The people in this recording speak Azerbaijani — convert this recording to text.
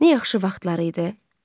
Nə yaxşı vaxtlardı.